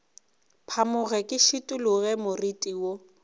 phamoge ke šikologe moriti wo